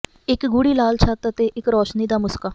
ਇੱਕ ਗੂੜ੍ਹੀ ਲਾਲ ਛੱਤ ਅਤੇ ਇੱਕ ਰੌਸ਼ਨੀ ਦਾ ਮੁਸਕਾ